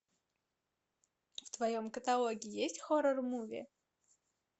в твоем каталоге есть хоррор муви